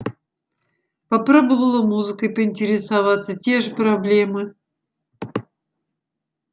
попробовала музыкой поинтересоваться те же проблемы